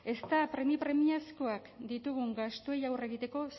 ezta premiazkoak ditugun gastuei aurre egiteko